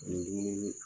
Ni dumuni